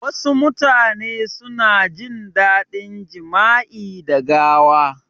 Wasu mutane suna jin dadin jama'i da gawa